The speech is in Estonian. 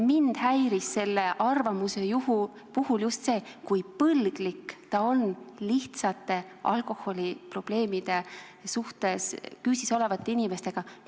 Mind häiris selle arvamuse puhul just see, kui põlglik ta oli lihtsate, alkoholiprobleemide küüsis olevate inimeste vastu.